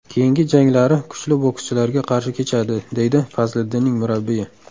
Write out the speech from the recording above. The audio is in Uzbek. Keyingi janglari kuchli bokschilarga qarshi kechadi”, deydi Fazliddinning murabbiyi.